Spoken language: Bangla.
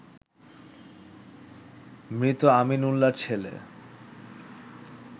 মৃত আমিন উল্লার ছেলে